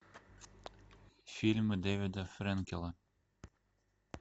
фильмы дэвида фрэнкела